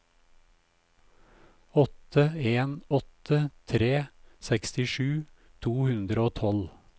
åtte en åtte tre sekstisju to hundre og tolv